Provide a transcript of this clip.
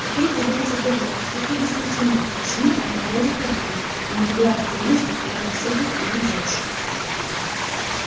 какую придумать отговорку как объяснить ему почему она бродит по дому а не легла вздремнуть по примеру всех остальных девушек